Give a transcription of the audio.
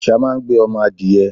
àṣá máa ń gbé ọmọ adiẹ